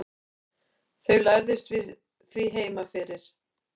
þau lærðust því heima fyrir